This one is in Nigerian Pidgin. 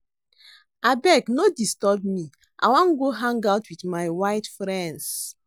Abeg no disturb me I wan go hang out with my white friends